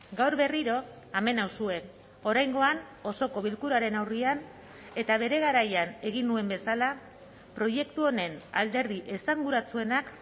gaur berriro hemen nauzue oraingoan osoko bilkuraren aurrean eta bere garaian egin nuen bezala proiektu honen alderdi esanguratsuenak